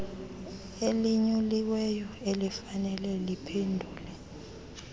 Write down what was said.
elinyuliweyo elifanele liphendule